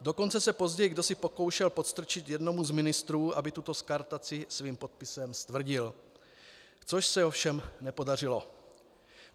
Dokonce se později kdosi pokoušel podstrčit jednomu z ministrů, aby tuto skartaci svým podpisem stvrdil, což se ovšem nepodařilo.